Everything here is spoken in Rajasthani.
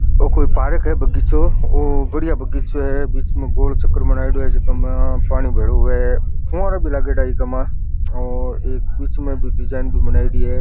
ओ कोई पार्क है बगीचों बढ़िया बगीचों है बिच में गोल चक्र बना है जे का में पानी भेळो है खम्बा भी लगाएड़ा है बिच में डिज़ाइन भी बनाइडी है।